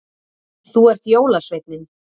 Þú ert jólasveinninn